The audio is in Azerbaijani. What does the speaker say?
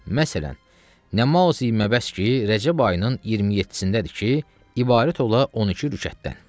Məsələn, namazı Ənbas ki, Rəcəb ayının 27-cindədir ki, ibarət ola 12 rükətdən.